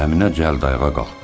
Əminə cəld ayağa qalxdı.